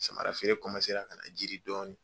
Samara feere ka na jidi dɔɔni.